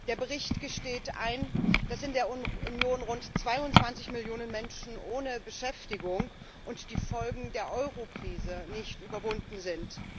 Der Bericht gesteht ein, dass in der Union rund 22 Millionen Menschen ohne Beschäftigung und die Folgen der Eurokrise nicht überwunden sind.